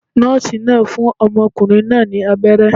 Nóòsì náà fún ọmọkùnrin náà ní abéré